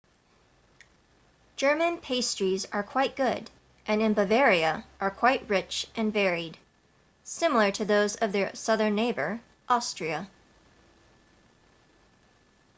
german pastries are quite good and in bavaria are quite rich and varied similar to those of their southern neighbor austria